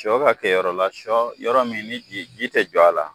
Sɔ ka kɛ yɔrɔ la, sɔ yɔrɔ min ni ji te jɔ a la.